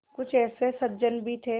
कुछ ऐसे सज्जन भी थे